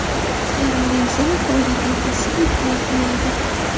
Karim Benzema faoliyatini qaysi klubda yakunlaydi?